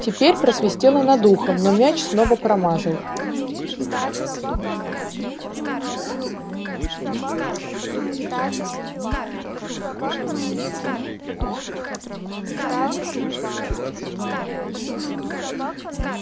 теперь просвистело над ухом но мяч снова промазал